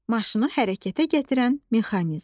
Maşını hərəkətə gətirən mexanizm.